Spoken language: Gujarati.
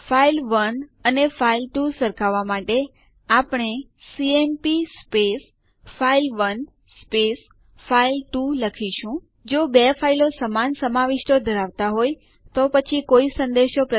જો ન બનાવેલ હો તો general purpose utilities in Linux પરના ટ્યુટોરીયલ સંદર્ભ લો